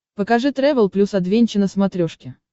покажи трэвел плюс адвенча на смотрешке